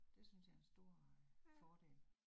Det synes jeg er en stor øh fordel